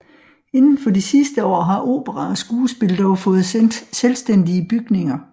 Inden for de sidste år har opera og skuespil dog fået selvstændige bygninger